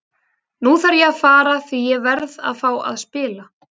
Nú þarf ég að fara því ég verð að fá að spila.